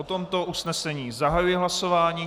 O tomto usnesení zahajuji hlasování.